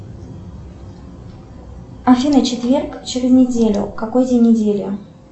афина четверг через неделю какой день недели